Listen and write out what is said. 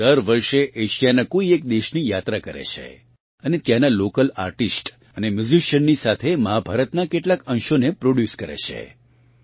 તેઓ દર વર્ષે એશિયાનાં કોઇ એક દેશની યાત્રા કરે છે અને ત્યાંનાં લોકલ આર્ટિસ્ટ અને મ્યુજિશીયનની સાથે મહાભારતનાં કેટલાંક અંશોને પ્રોડ્યુસ કરે છે